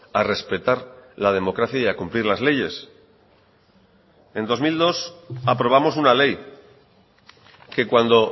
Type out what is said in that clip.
a respetar la democracia y a cumplir las leyes en dos mil dos aprobamos una ley que cuando